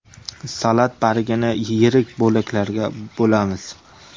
Salat bargini yirik bo‘laklarga bo‘lamiz.